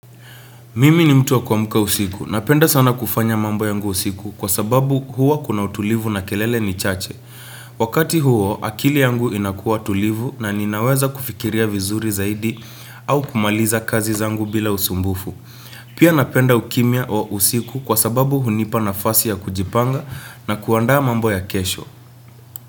Mimi ni mtu wa kuamka usiku. Napenda sana kufanya mambo yangu usiku kwa sababu, huwa kuna utulivu na kelele ni chache. Wakati huo, akili yangu inakuwa tulivu na ninaweza kufikiria vizuri zaidi au kumaliza kazi zangu bila usumbufu. Pia, napenda ukimya wa usiku kwa sababu, hunipa nafasi ya kujipanga na kuandaa mambo ya kesho.